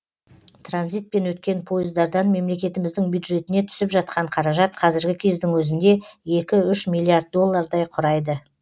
транзитпен өткен пойыздардан мемлекетіміздің бюджетіне түсіп жатқан қаражат қазіргі кездің өзінде екі үш миллиард доллардай құрайды